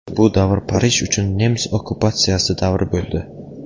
Bu davr Parij uchun nemis okkupatsiyasi davri bo‘ldi.